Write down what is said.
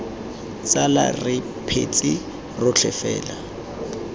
tsala re phetse rotlhe fela